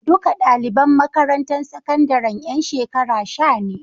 Duka ɗaliban makarantar sakandaren ƴan shekara sha ne.